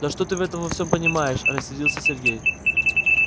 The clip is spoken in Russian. да что ты в этом во всем понимаешь рассердился сергей